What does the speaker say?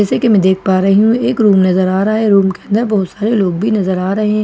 जैसे कि मैं देख पा रही हूं एक रूम नजर आ रहा है रूम के अंदर बहुत सारे लोग भी नजर आ रहे हैं दो --